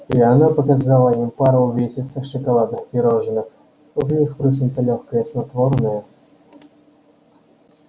и она показала им пару увесистых шоколадных пирожных в них впрыснуто лёгкое снотворное